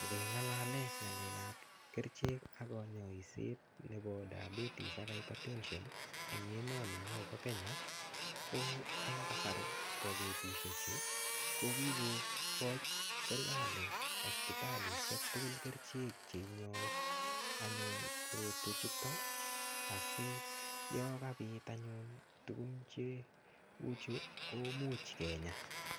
Nge ngalalen ngalekab kerichek ak konyoiset nebo diabetes ak hypertension eng emoni nyon bo Kenya ko en kasari bo betushechu ko kikoko serikali hospitalishek tukul kerichek che inyoi anyun korotwe chuton asiyon kabit kiit anyun tukun cheuchu kimuch kinya.